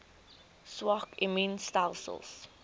swak immuun stelsels